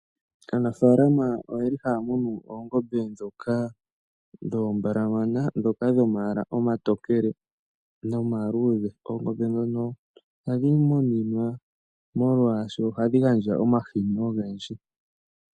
Aanafaalama oyeli haamunu oongombe dhoka dhoombalamana dhoka dhomayala omatokele nomaluudhe. Oongombe dhono ohandhi muninwa molwaasho ohadhi gandja omahini ogendji.